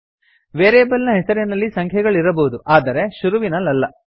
variable ನ ಹೆಸರಿನಲ್ಲಿ ಸಂಖ್ಯೆಗಳಿರಬಹುದು ಆದರೆ ಶುರುವಿನಲ್ಲಲ್ಲ